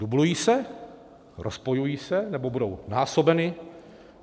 Dublují se, rozpojují se nebo budou násobeny?